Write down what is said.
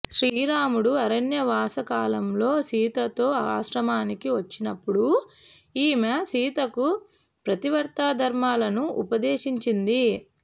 శ్రీరాముడు అరణ్యవాసకాలంలో సీతతో ఆశ్రమానికి వచ్చినప్పుడు ఈమె సీతకు పతివ్రతాధర్మాలను ఉపదేశించింది